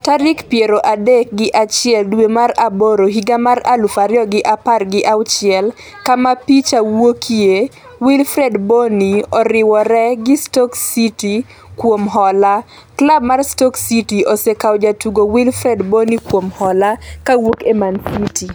tarik piero adek gi achiel dwe mar aboro higa mar aluf ariyo gi apar gi auchiel kama picha wuokie Wilfried Bonny oriwore gi Stoke City kuom hola .klab mar Stoke City osekawo jatugo Wilfried Bony kuom hola kowuok e Manchester City.